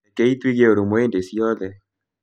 Rekei tũige ũrũmwe hĩndĩ ciothe